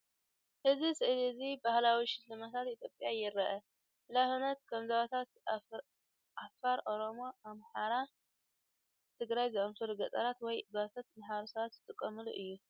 እዚ ስእሊ እዚ ባህላዊ ሽልማታት ኢትዮጵያ የርኢ ምናልባት ከም ዞባታት ኣፋር ፤ኦሮሞ ፤ኣምሓራን ትግራይ ዝኣመሰሉ ገጠራት ወይ ጓሶት ማሕበረሰባት ዝጥቀሙሉ እዩ።